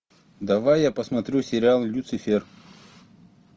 давай я посмотрю сериал люцифер